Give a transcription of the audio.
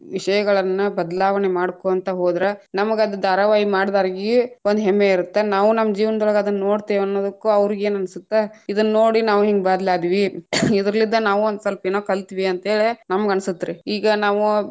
ವಿಷಯಗಳನ್ನ ಬದಲಾವಣೆ ಮಾಡಕೊಂತ ಹೋದ್ರ ನಮಗ ಅದ್‌ ಧಾರಾವಾಹಿ ಮಾಡದ್ಯಾಗಿ೯ ಒಂದ ಹೆಮ್ಮೆ ಇರತ್ತ, ನಾವು ನಮ್ಮ ಜೀವನದೊಳಗ್ ಅದನ್ನೋಡ್ತೀವ್‌ ಅನ್ನುದಕ್ಕು ಅವ್ರೀಗೇನನಸತ್ತ ಇದನ್ನೋಡಿ ನಾವ್‌ ಹಿಂಗ್‌ ಬದ್ಲಾದ್ವಿ ಇದರ್ಲಿದ್ದ ನಾವು ಒಂದ ಸ್ವಲ್ಪ ಏನೋ ಕಲ್ತ್ವಿ ಅಂತ ಹೇಳಿ ನಮ್ಗ ಅನಸತ್ರೀ, ಈಗಾ ನಾವು.